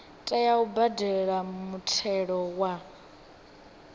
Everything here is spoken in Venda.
tea u badela muthelo wa